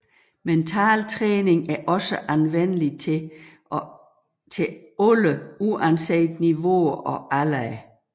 Mentaltræning er også anvendeligt til alle uanset niveauer og aldre